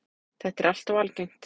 Þetta er alltof algengt.